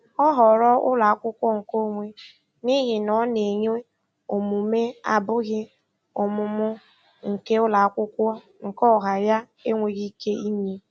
Ọ họọrọ ụlọakwụkwọ nke onwe n'ihi na ọ na-enye omume abụghị ọmụmụ nke ụlọakwụkwọ nke ọha ya enweghị ike inye.